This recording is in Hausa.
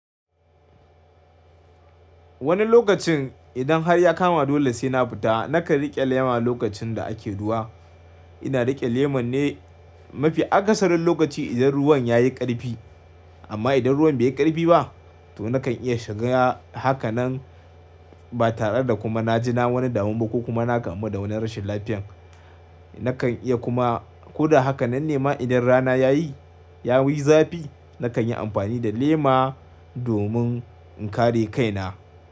Wani lokacin idan har ya kama dole sai na fita, nakan riƙe lema lokacin da ake ruwa. Ina riƙe lemar ne mafi akasarin lokaci idan ruwan ya yi ƙarfi. Amma idan ruwan bai yi ƙarfi ba, to nakan iya shiga haka nan ba tare da kuma na ji na wani damu ba ko kuma na kamu da wani rashin lafiyan. Nakan iya kuma ko da haka nan nema idan rana yayi, ya wi zafi nakan yi amfani da lema domin in kare kaina.